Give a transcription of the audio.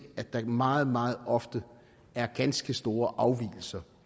at der meget meget ofte er ganske store afvigelser